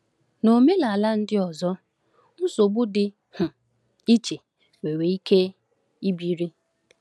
N’omenala ndị ọzọ, nsogbu dị um iche nwere ike ibili.